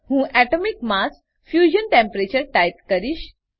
હું atomic mass - fusion temperature type કરીશ